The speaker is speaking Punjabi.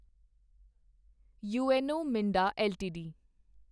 UNO Minda LTD